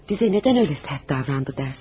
Bize neden öyle sert davrandı dersin?